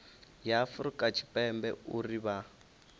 ya afurika tshipembe uri vha